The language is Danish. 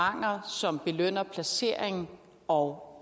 som belønner placering og